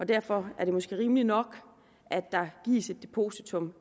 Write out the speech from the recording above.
derfor er det måske rimeligt nok at der gives et depositum